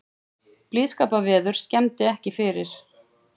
Blíðskaparveður skemmdi ekki fyrir